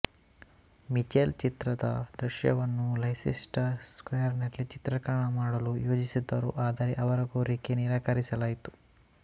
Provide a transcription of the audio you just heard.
Mitchell ಚಿತ್ರದ ದೃಶ್ಯವನ್ನು Leicester square ನಲ್ಲಿ ಚಿತ್ರೀಕರಣ ಮಾಡಲು ಯೋಜಿಸಿದ್ದರು ಆದರೆ ಅವರ ಕೋರಿಕೆ ನಿರಾಕರಿಸಲಾಯಿತು